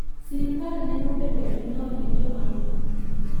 Sirkal neno bedo gi lowo ne jomamine.